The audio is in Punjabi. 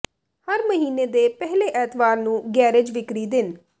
ਹਰ ਮਹੀਨੇ ਦੇ ਪਹਿਲੇ ਐਤਵਾਰ ਨੂੰ ਗੈਰੇਜ ਵਿਕਰੀ ਦਿਨ